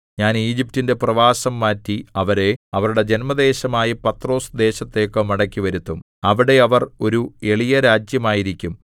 ഞാൻ ഈജിപ്റ്റിന്റെ പ്രവാസം മാറ്റി അവരെ അവരുടെ ജന്മദേശമായ പത്രോസ് ദേശത്തേക്ക് മടക്കിവരുത്തും അവിടെ അവർ ഒരു എളിയരാജ്യമായിരിക്കും